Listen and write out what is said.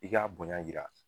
I kabonya jira